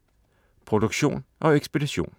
Produktion og ekspedition: